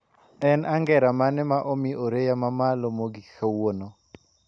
En angera mane ma omi oreya mamalo mogik kawuono